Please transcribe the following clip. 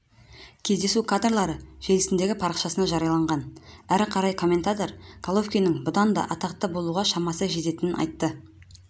кездесу кадрлары желісіндегі парақшасында жарияланған әрі қарай комментатор головкиннің бұдан даатақты болуға шамасы жететінін айтып өтті